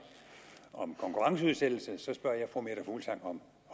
om konkurrenceudsættelse så spørger jeg fru meta fuglsang om